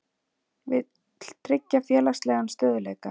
Vill tryggja félagslegan stöðugleika